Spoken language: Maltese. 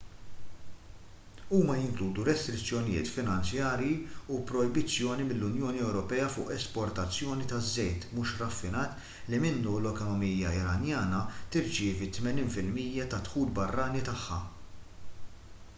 huma jinkludu restrizzjonijiet finanzjarji u projbizzjoni mill-unjoni ewropea fuq l-esportazzjoni taż-żejt mhux raffinat li minnu l-ekonomija iranjana tirċievi 80 % tad-dħul barrani tagħha